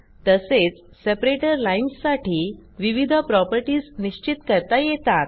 तसेच separator lines साठी विविध प्रॉपर्टीज निश्चित करता येतात